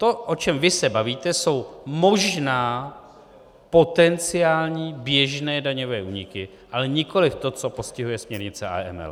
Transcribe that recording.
To, o čem vy se bavíte, jsou možná potenciální běžné daňové úniky, ale nikoli to, co postihuje směrnice AML.